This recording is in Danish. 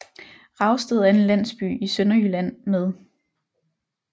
Ravsted er en landsby i Sønderjylland med